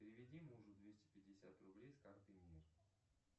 переведи мужу двести пятьдесят рублей с карты мир